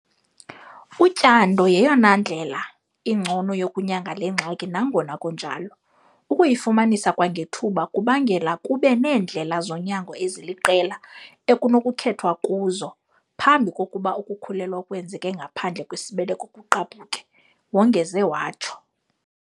"Utyando yeyona ndlela ingcono yokunyanga le ngxaki nangona kunjalo, ukuyifumanisa kwangethuba kubangela kube neendlela zonyango eziliqela ekunokukhethwa kuzo phambi kokuba ukukhulelwa okwenzeka ngaphandle kwesibeleko kugqabhuke," wongeze watsho.